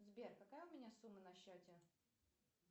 сбер какая у меня сумма на счете